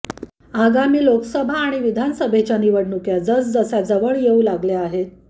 आगामी लोकसभा आणि विधानसभेच्या निवडणुका जसजशा जवळ येऊ लागल्या आहेत